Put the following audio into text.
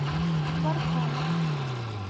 ларкана